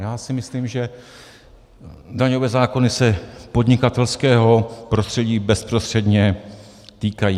Já si myslím, že daňové zákony se podnikatelského prostředí bezprostředně týkají.